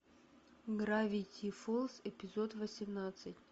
гравити фолз эпизод восемнадцать